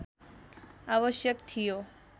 आवश्क थियो